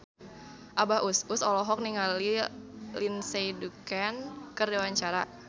Abah Us Us olohok ningali Lindsay Ducan keur diwawancara